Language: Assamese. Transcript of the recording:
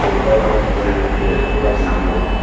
পোষ্টাৰখনত এজন ব্যক্তিয়ে চশমা পিন্ধি আছে।